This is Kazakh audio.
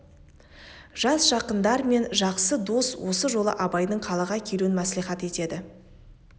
жас жақындар мен жақсы дос осы жолы абайдың қалаға келуін мәслихат етеді